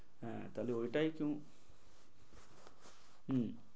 হম হ্যাঁ তাহলে ওইটাই কিনো।